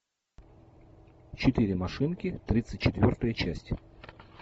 четыре машинки тридцать четвертая часть